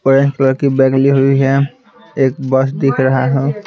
Orange colour की bag ली हुई है एक बस दिख रहा है।